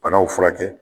Banaw furakɛ